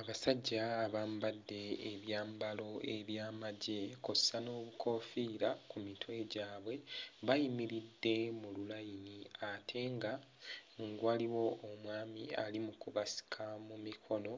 Abasajja abambadde ebyambalo eby'amagye kw'ossa n'obukoofiira ku mitwe gyabwe bayimiridde mu lulayini ate nga waliwo omwami ali mu kubasika mu mikono